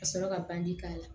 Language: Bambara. Ka sɔrɔ ka bandi k'a la